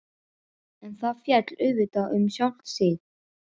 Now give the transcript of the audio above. En það féll auðvitað um sjálft sig.